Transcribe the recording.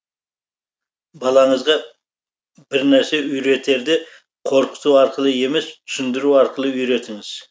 балаңызға бірнәрсе үйретерде қорқыту арқылы емес түсіндіру арқылы үйретіңіз